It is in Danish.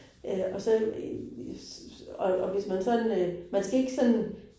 Og så, og og hvis man sådan øh, man skal ikke sådan